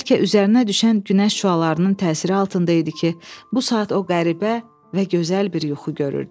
Bəlkə üzərinə düşən günəş şüalarının təsiri altında idi ki, bu saat o qəribə və gözəl bir yuxu görürdü.